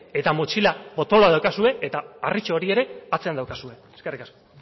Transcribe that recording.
eta motxila potoloa daukazue eta harritxo hori ere atzean daukazue eskerrik asko